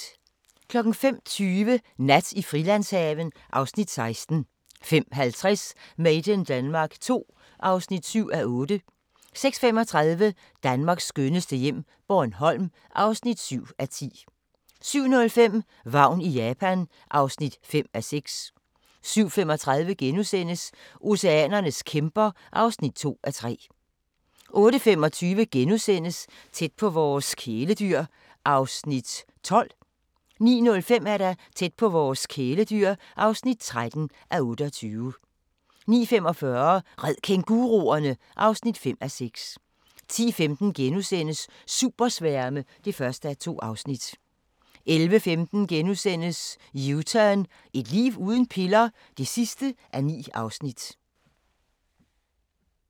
05:20: Nat i Frilandshaven (Afs. 16) 05:50: Made in Denmark II (7:8) 06:35: Danmarks skønneste hjem - Bornholm (7:10) 07:05: Vagn i Japan (5:6) 07:35: Oceanernes kæmper (2:3)* 08:25: Tæt på vores kæledyr (12:28)* 09:05: Tæt på vores kæledyr (13:28) 09:45: Red kænguruerne! (5:6) 10:15: Supersværme (1:2)* 11:15: U-turn – Et liv uden piller? (9:9)*